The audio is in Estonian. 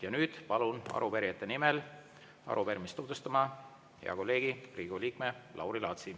Ja nüüd palun arupärijate nimel arupärimist tutvustama hea kolleegi, Riigikogu liikme Lauri Laatsi.